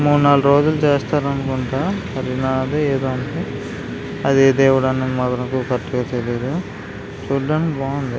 మూడు నాలుగు రోజులు చేస్తారు అనుకుంటా హరినాధ్ ఏదో అనుకుంటా అదిఏ దేవుడో కరెక్ట్ గా తెలీదు చూడ్డానికి బాగుంది.